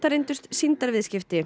reyndust